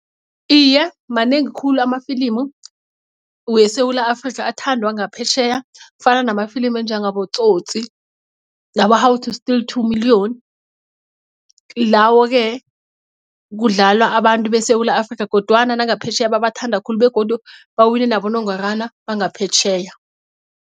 Iye, manengi khulu amafilimu weSewula Afrika athandwa ngaphetjheya kufana namafilimu anjengaboTsotsi nabo-How to steal two million lawo-ke kudlala abantu beSewula Afrika kodwana nangaphetjheya bebathanda khulu begodu bawine nabonongorwana bangaphetjheya.